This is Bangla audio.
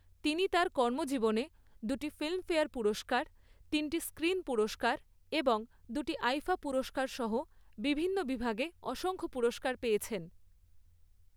তিনি তার কর্মজীবনে দুটি ফিল্মফেয়ার পুরস্কার, তিনটি স্ক্রিন পুরস্কার এবং দুটি আইফা পুরস্কার সহ বিভিন্ন বিভাগে অসংখ্য পুরস্কার পেয়েছেন।